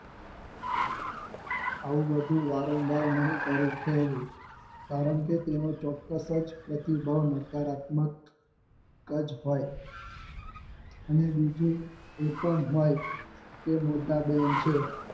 આવું બધું વારં વાર નહિ કરે કહેવું કારણકે તેનો ચોક્કસ જ પ્રતિબળ નકારાત્મક ક જ હોય અને બીજું એ પણ હોય કે મોટા બેન છે